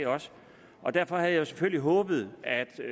og derfor havde jeg selvfølgelig håbet at